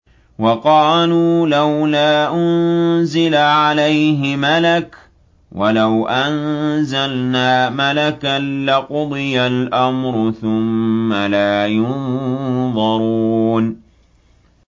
وَقَالُوا لَوْلَا أُنزِلَ عَلَيْهِ مَلَكٌ ۖ وَلَوْ أَنزَلْنَا مَلَكًا لَّقُضِيَ الْأَمْرُ ثُمَّ لَا يُنظَرُونَ